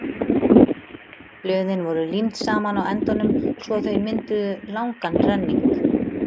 Blöðin voru límd saman á endunum svo að þau mynduðu langan renning.